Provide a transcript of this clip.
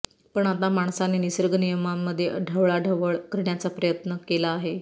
पण आता माणसाने निसर्ग नियमांमध्ये ढवळाढवळ करण्याचा प्रयत्न केला आहे